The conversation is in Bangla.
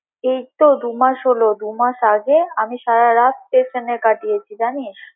এই তো দু মাস হলো, দু মাস আগে আমি সারা রাত station এ কাটিয়েছি জানিস।